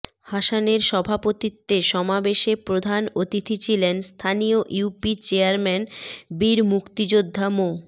হাসানের সভাপতিত্বে সমাবেশে প্রধান অতিথি ছিলেন স্থানীয় ইউপি চেয়ারম্যান বীর মুক্তিযোদ্ধা মো